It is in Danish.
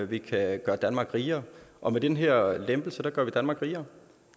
vi kan gøre danmark rigere og med den her lempelse gør vi danmark rigere